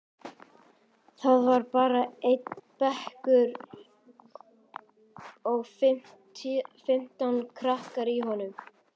Það var bara einn bekkur og fimmtán krakkar í honum.